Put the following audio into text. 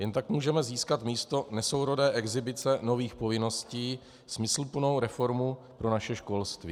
Jen tak můžeme získat místo nesourodé exhibice nových povinností smysluplnou reformu pro naše školství.